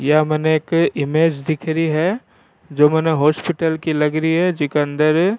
यह मैंने एक इमेज दिख रही है जो मैंने हॉस्पिटल लग रही है जिके अंदर --